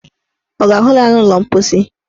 Ọ ga-ahụ ya n' ụlọ mposi?